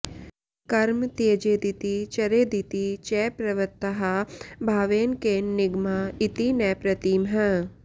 कर्म त्यजेदिति चरेदिति च प्रवृत्ताः भावेन केन निगमा इति न प्रतीमः